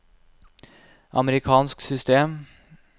amerikansk system